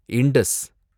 Indies